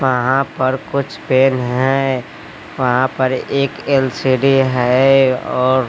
वहां पर कुछ पेड़ हैं वहां पर एक एल_सी_डी है और--